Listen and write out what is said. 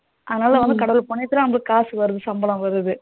அதுனால கடவுள் புண்ணியத்துல காசு வாருது சம்பளம் வருது.